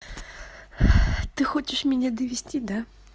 ты хочешь меня довести да